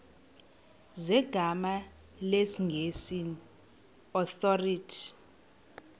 zegama lesngesn authorit